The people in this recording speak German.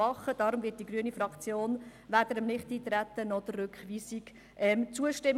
Deshalb wird die grüne Fraktion weder dem Nichteintreten noch der Rückweisung zustimmen.